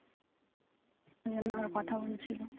এজন্য আবার কথা বলছিল